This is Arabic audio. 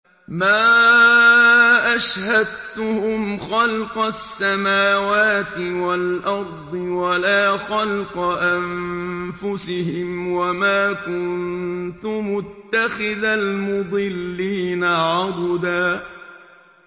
۞ مَّا أَشْهَدتُّهُمْ خَلْقَ السَّمَاوَاتِ وَالْأَرْضِ وَلَا خَلْقَ أَنفُسِهِمْ وَمَا كُنتُ مُتَّخِذَ الْمُضِلِّينَ عَضُدًا